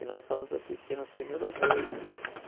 E nós fomos assistir no Cine Ouro Verde.